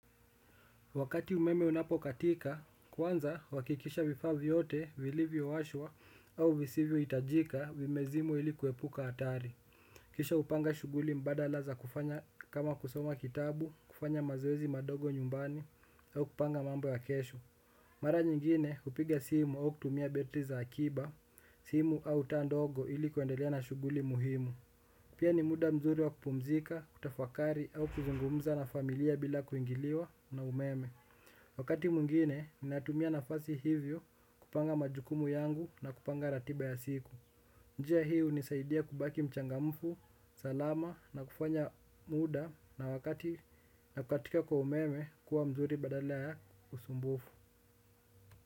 Wakati umeme unapokatika, kwanza huhakikisha vifaa vyote vilivyo washwa au visivyo hitajika vimezimwa ili kuepuka hatari. Kisha hupanga shughuli mbala za kufanya kama kusoma kitabu, kufanya mazoezi madogo nyumbani au kupanga mambo ya kesho. Mara nyingine kupiga simu au kutumia betri za akiba, simu au taa ndogo ili kuendelea na shughuli muhimu. Pia ni muda mzuri wa kupumzika, kutafakari au kuzungumza na familia bila kuingiliwa na umeme. Wakati mwingine, ninatumia nafasi hivyo kupanga majukumu yangu na kupanga ratiba ya siku. Njia hii hunisaidia kubaki mchangamfu, salama na kufanya muda na wakati na kukatika kwa umeme kuwa mzuri badala ya usumbufu.